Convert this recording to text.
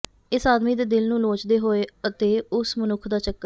ਇਸ ਆਦਮੀ ਦੇ ਦਿਲ ਨੂੰ ਲੋਚਦੇ ਹੋਏ ਅਤੇ ਉਸ ਮਨੁੱਖ ਦਾ ਚੱਕਰ